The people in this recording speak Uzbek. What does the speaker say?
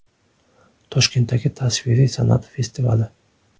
Toshkentdagi tasviriy san’at festivali.